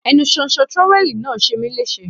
Ẹnu ṣóńṣó trówẹ́ẹ̀lì náà ṣe mí léṣe.